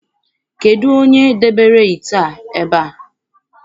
Kedụ onye dowere ite a ebe a?